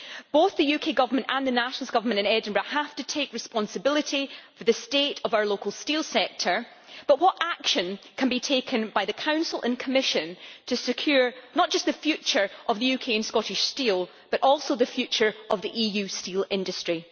Both the UK Government and the SNP government in Edinburgh have to take responsibility for the state of our local steel sector, but what action can be taken by the Council and Commission to secure not just the future of UK and Scottish steel, but also the future of the EU steel industry?